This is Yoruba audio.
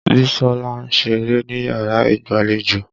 Bísọ́lá ń ṣeré níyàrá ìgbàlejò.